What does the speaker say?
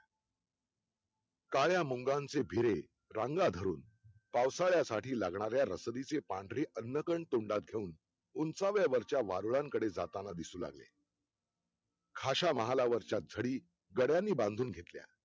काळ्या मुंग्यांचे भिरे रांगा धरून पावसाळ्यासाठी लागणाऱ्या रसदीचे पांढरे अन्न कण तोंडात घेऊन उंचाव्यावरच्या वारुळात जाताना दिसू लागले खाशा महालावरच्या धडी गड्यांनी बांधून घेतल्या